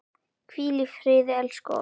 Hvíl í friði elsku Ósk.